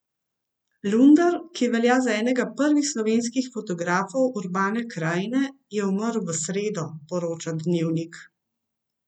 Lunder, ki velja za enega prvih slovenskih fotografov urbane krajine, je umrl v sredo, poroča Dnevnik.